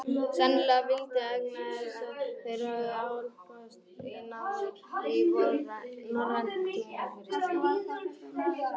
Sennilega valdir vegna þess að þeir höfðu álpast í nám í norrænum tungumálum fyrir stríð.